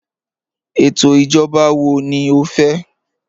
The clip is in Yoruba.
Étò ijọ̀ba wọ̀ ní ọ fẹ́?